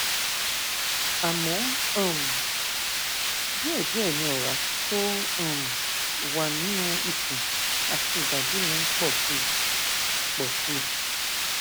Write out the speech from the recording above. àmọ um díẹdíẹ ni ọrá tó um wà nínú ikùn àti ìbàdí mi ń pọ sí i pọ sí i